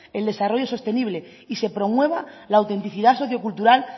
el desarrollo sostenible y se promueva la autenticidad sociocultural